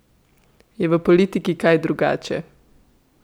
Je v politiki kaj drugače?